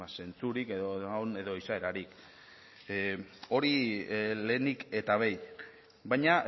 zentzurik edo izaerarik hori lehenik eta behin baina